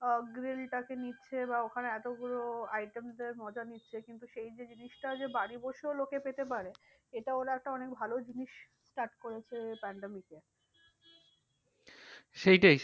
সেইটাই